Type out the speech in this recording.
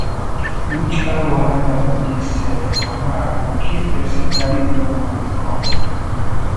which kin wahala be dis sef mama i go kill person carry blood money come